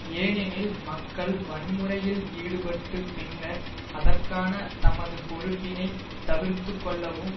ஏனெனில் மக்கள் வன்முறையில் ஈடுபட்டு பின்னர் அதற்கான தமது பொறுப்பினை தவிர்த்து கொள்ளவும்